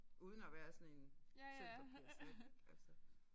Uden at være sådan en sølvpapirshat altså